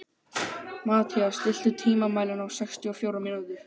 Mathías, stilltu tímamælinn á sextíu og fjórar mínútur.